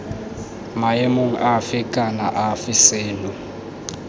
maemong afe kana afe seno